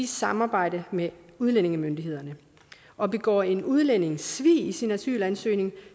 samarbejde med udlændingemyndighederne og begår en udlænding svig i sin asylansøgning